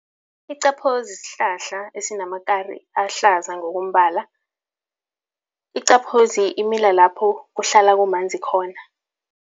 Iqaphozi sihlahla esinamakari ahlaza ngokombala. Iqaphozi imila lapho kuhlala kumanzi khona.